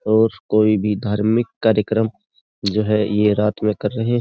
और कोई भी धार्मिक कार्यक्रम जो है ये रात में कर रहें --